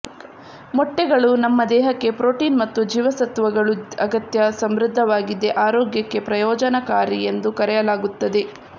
ಮೊಟ್ಟೆಗಳು ನಮ್ಮ ದೇಹಕ್ಕೆ ಪ್ರೋಟೀನ್ ಮತ್ತು ಜೀವಸತ್ವಗಳು ಅಗತ್ಯ ಸಮೃದ್ಧವಾಗಿದೆ ಆರೋಗ್ಯಕ್ಕೆ ಪ್ರಯೋಜನಕಾರಿ ಎಂದು ಕರೆಯಲಾಗುತ್ತದೆ